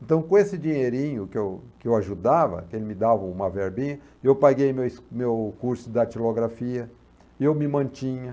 Então, com esse dinheirinho que eu que eu ajudava, que ele me dava uma verbinha, eu paguei meus meu curso de datilografia, eu me mantinha.